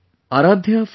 Aaradhya from U